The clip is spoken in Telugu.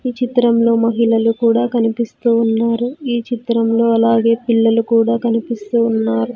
ఈ చిత్రంలో మహిళలు కూడా కనిపిస్తూ ఉన్నారు ఈ చిత్రంలో అలాగే పిల్లలు కూడా కనిపిస్తూ ఉన్నారు.